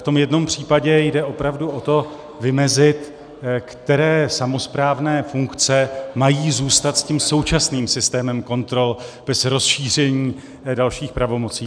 V tom jednom případě jde opravdu o to vymezit, které samosprávné funkce mají zůstat s tím současným systémem kontrol bez rozšíření dalších pravomocí.